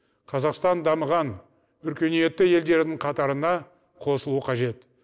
қазақстан дамыған өркениетті елдердің қатарына қосылуы қажет